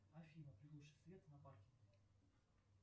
афина приглуши свет на парке